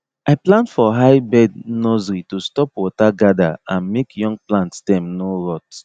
i plant for high bed nursery to stop water gather and make young plant stem no rot